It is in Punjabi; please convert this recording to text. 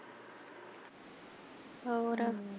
ਹੋਰ।